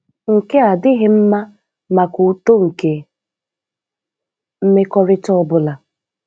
Nke a adịghị mma maka uto nke mmekọrịta ọ bụla